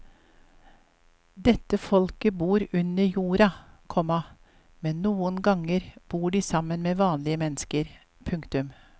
Dette folket bor under jorda, komma men noen ganger bor de sammen med vanlige mennesker. punktum